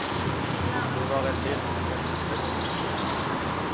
Det var et helt uventet festmåltid.